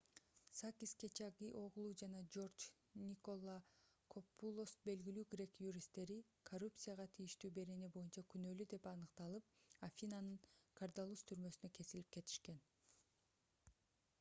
сакис кечагиоглу жана джордж николакопулос белгилүү грек юристтери коррупцияга тийиштүү берене боюнча күнөлүү деп аныкталып афинанын кордаллус түрмөсүнө кесилип кетишкен